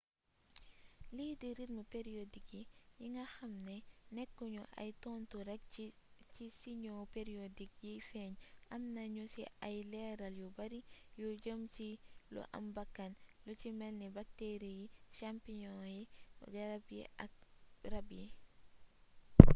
lii di rythme periodik yi yi nga xamni nekku ñu ay tontu rek ci siñoo periodik yiy feeñ amna ñu ci ay leeral yu bari yu jëm ci lu am bakkan lu ci melni bakteri yi champignon yi garab yi ak rab yi